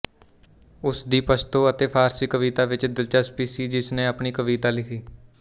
ਉਸ ਦੀ ਪਸ਼ਤੋ ਅਤੇ ਫ਼ਾਰਸੀ ਕਵਿਤਾ ਵਿੱਚ ਦਿਲਚਸਪੀ ਸੀ ਜਿਸ ਨੇ ਆਪਣੀ ਕਵਿਤਾ ਲਿਖੀ